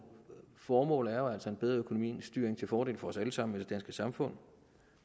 formål er jo altså en bedre økonomistyring til fordel for os alle sammen i det danske samfund